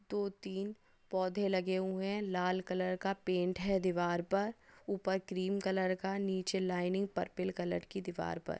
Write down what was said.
दो तीन पौधे लगे हुए है लाल कलर का पेंट है दीवार पर उपर क्रीम कलर का नीचे लायनिंग परपल कलर की दीवार पर।